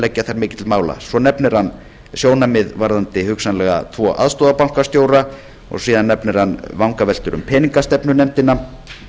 að leggja þar mikið til mála svo nefnir hann sjónarmið varðandi hugsanlega tvo aðstoðarbankastjóra og síðan nefnir hann vangaveltur um peningastefnunefndina